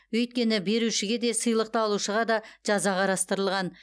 өйткені берушіге де сыйлықты алушыға да жаза қарастырылған